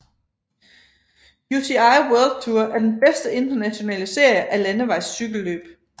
UCI World Tour er den bedste internationale serie af landevejscykelløb